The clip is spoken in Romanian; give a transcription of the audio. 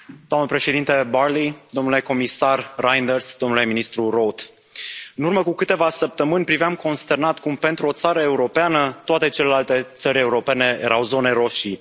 Doamna președintă Barley, domnule comisar Reynders, domnule ministru Roth, în urmă cu câteva săptămâni, priveam consternat cum pentru o țară europeană toate celelalte țări europene erau zone roșii.